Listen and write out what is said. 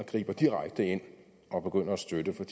griber direkte ind og begynder at støtte for